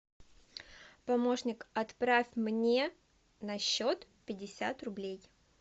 помощник отправь мне на счет пятьдесят рублей